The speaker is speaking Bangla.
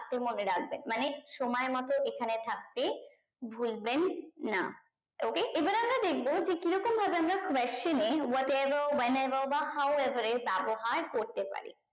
থাকতে মনে রাখবেন মানে সময় মতো এই খানে থাকতে ভুলবেন না okay এবার আমরা দেখবো যে কি রকম ভাবে আমরা question এ what ever when ever বা how ever এ ব্যাবহার করতে পারি